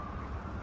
Yola boş qoy.